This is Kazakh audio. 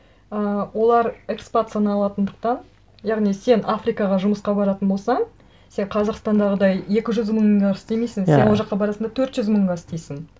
ы олар экспацияланатындықтан яғни сен африкаға жұмысқа баратын болсаң сен қазақстандағыдай екі жүз мыңға істемейсің иә сен ол жаққа барасың да төрт жүз мыңға істейсің